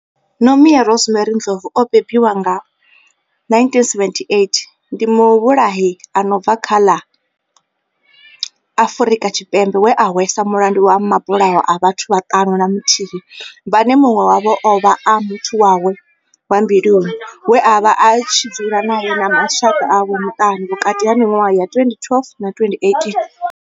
Nomia Rosemary Ndlovu o bebiwaho nga, 1978, ndi muvhulahi a no bva kha ḽa Afrika Tshipembe we a hweswa mulandu wa mabulayo a vhathu vhaṱanu na muthihi vhane munwe wavho ovha a muthu wawe wa mbiluni we avha a tshi dzula nae na mashaka awe maṱanu vhukati ha minwaha ya 2012 na 2018.